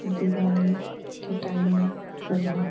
दिवाली के टाइम में सजावट --